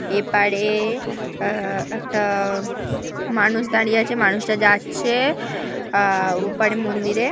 এপারে আ একটা মানুষ দাঁড়িয়ে আছে মানুষটা যাচ্ছে আ ওপারে মন্দিরে ।